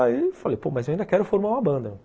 Aí eu falei, pô, mas eu ainda quero formar uma banda.